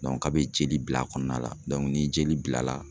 a bɛ jeli bila a kɔnɔna la ni jeli bila la